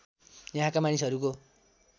यहाँका मानिसहरूको